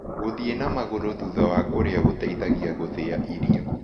Gũthĩe na magũrũ thũtha wa kũrĩa gũteĩthagĩa gũthĩa irio